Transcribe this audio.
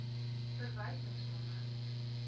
verwysingsnommer